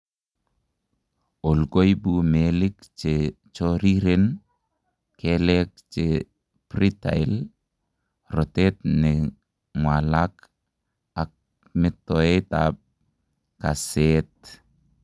OI koibu meelik chechoriren, keleek chebritlle, rotet nekeng'walak ak metoet ab kaseet